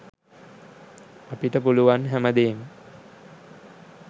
අපිට පුළුවන් හැම දේම